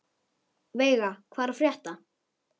Veiga, hvað er að frétta?